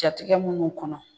Jatigɛ minnu kɔnɔ.